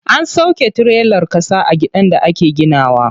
An sauƙe tirelar ƙasa a gidan da ake gina wa.